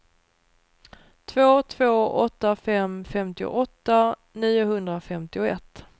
två två åtta fem femtioåtta niohundrafemtioett